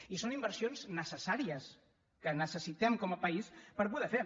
i són inversions necessàries que necessitem com a país per poder fer